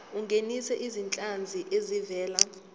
ungenise izinhlanzi ezivela